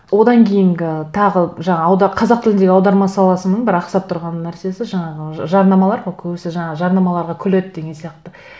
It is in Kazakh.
одан кейінгі тағы жаңа қазақ тіліндегі аударма саласының бір ақсап тұрған нәрсесі жаңағы жарнамалар көбісі жаңа жарнамаларға күледі деген сияқты